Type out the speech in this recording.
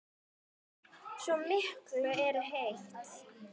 Svo miklu eru eytt.